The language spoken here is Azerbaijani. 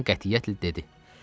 Xanım qətiyyətlə dedi.